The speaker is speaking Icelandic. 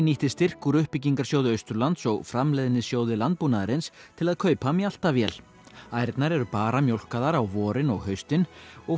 nýtti styrk úr uppbyggingarsjóði Austurlands og Framleiðnisjóði landbúnaðarins til að kaupa mjaltavél ærnar eru bara mjólkaðar á vorin og haustin og